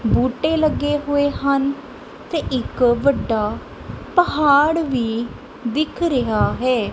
ਬੂਟੇ ਲੱਗੇ ਹੋਏ ਹਨ ਤੇ ਇੱਕ ਵੱਡਾ ਪਹਾੜ ਵੀ ਦਿਖ ਰਿਹਾ ਹੈ।